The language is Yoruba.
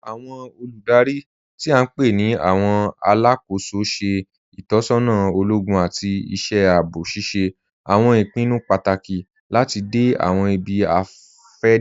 Awọn olúdárí tí a npe ni awọn alákó̩sọ ṣẹ̀ itọsọna ologun àti iṣẹ̀ àabọ̀, ṣíṣẹ̀ awọn ìpìnnú pátákì láti dẹ̀ awọn ìbí-afẹdẹ.